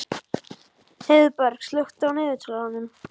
Heiðberg, slökktu á niðurteljaranum.